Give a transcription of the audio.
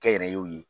Kɛnyɛrɛyew ye